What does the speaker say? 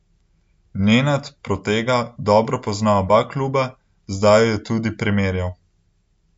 Nenad Protega dobro pozna oba kluba, zdaj ju je tudi primerjal.